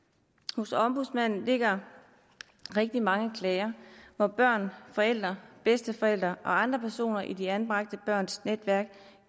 hos ombudsmanden ligger rigtig mange klager hvor børn forældre bedsteforældre og andre personer i de anbragte børns netværk